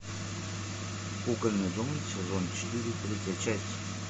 кукольный дом сезон четыре третья часть